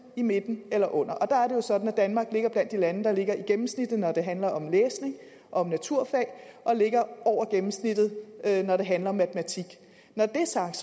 i midten eller under og der er det jo sådan at danmark ligger blandt de lande der ligger på gennemsnittet når det handler om læsning og om naturfag og ligger over gennemsnittet når det handler om matematik når det er sagt